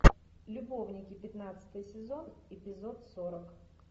любовники пятнадцатый сезон эпизод сорок